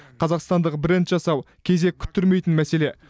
қазақстандық бренд жасау кезек күттірмейтін мәселе